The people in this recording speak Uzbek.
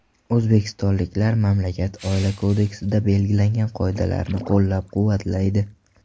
O‘zbekistonliklar mamlakat Oila kodeksida belgilangan qoidalarni qo‘llab-quvvatlaydi.